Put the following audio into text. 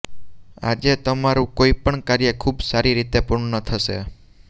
આજે તમારું કોઈ પણ કાર્ય ખૂબ સારી રીતે પૂર્ણ થશે